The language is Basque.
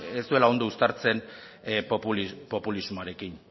ez duela ondo uztartzen populismoarekin